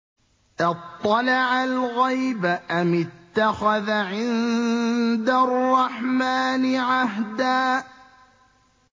أَطَّلَعَ الْغَيْبَ أَمِ اتَّخَذَ عِندَ الرَّحْمَٰنِ عَهْدًا